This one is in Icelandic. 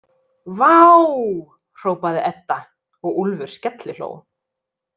Vááááá, hrópaði Edda og Úlfur skellihló.